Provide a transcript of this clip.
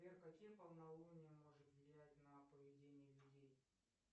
сбер какие полнолуния может влиять на поведение людей